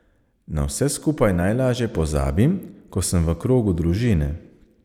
Na vse skupaj najlažje pozabim, ko sem v krogu družine.